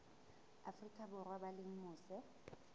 afrika borwa ba leng mose